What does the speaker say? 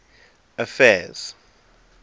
affairs